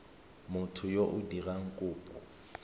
motho yo o dirang kopo